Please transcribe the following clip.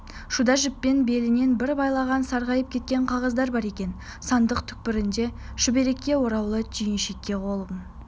шуда жіппен белінен бір байлаған сарғайып кеткен қағаздар бар екен сандық түкпірінде шүберекке ораулы түйіншекке қолын